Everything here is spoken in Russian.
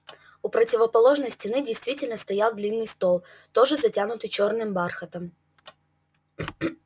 у противоположной стены действительно стоял длинный стол тоже затянутый чёрным бархатом